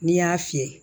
N'i y'a fiyɛ